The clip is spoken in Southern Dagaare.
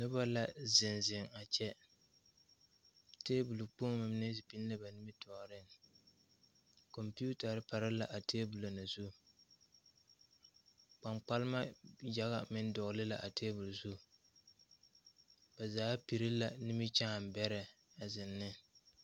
Nobɔ la zeŋ zeŋ a kyɛ tabole kpoŋmo mine biŋ la ba nimitoore kɔmpiutarre pare la a tabolɔ mine zu kpaŋkpalma yaga meŋ dɔgle la a tabolɔ mine zu ba zaa pire la nimikyaane bɛrɛ a zeŋ ne.